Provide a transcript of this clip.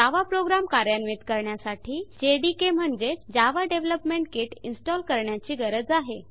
जावा program कार्यान्वित करण्यासाठी JDK म्हणजेच जावा डेवलपमेंट किट इनस्टॉल करण्याची गरज आहे